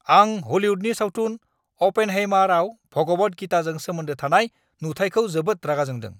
आं हलिउदनि सावथुन "अ'पेनहाइमार"आव भगवद गीताजों सोमोन्दो थानाय नुथाइखौ जोबोद रागा जोंदों।